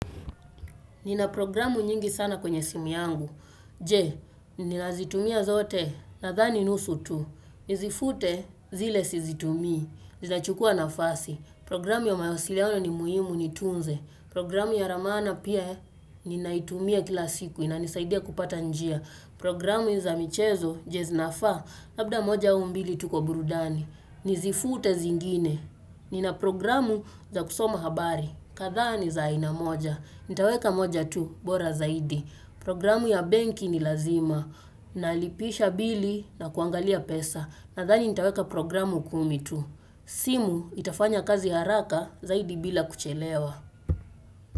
Nina programu nyingi sana kwenye simu yangu. Je, ninazitumia zote? Nadhani nusu tu. Nizifute zile sizitumii. Zinachukua nafasi. Programu ya mawasiliano ni muhimu nitunze. Programu ya ramana pia ninaitumia kila siku. Inanisaidia kupata njia. Programu za michezo je zinafaa. Labda moja au mbili tu kwa burudani. Nizifute zingine. Nina programu za kusoma habari. Kadhaa ni za aina moja. Nitaweka moja tu bora zaidi. Programu ya benki ni lazima. Nalipisha bili na kuangalia pesa. Nadhani nitaweka programu kumi tu. Simu itafanya kazi haraka zaidi bila kuchelewa.